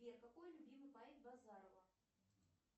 сбер какой любимый поэт базарова